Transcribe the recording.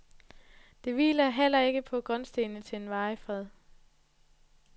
Det hviler heller ikke på grundstenene til en varig fred.